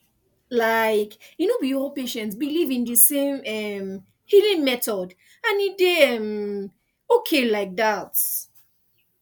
like e no be all patients believe in the same um healing method and e dey um okay like that